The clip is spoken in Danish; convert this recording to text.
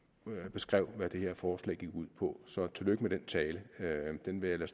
beskrev hvad det her forslag går ud på så tillykke med den tale den vil jeg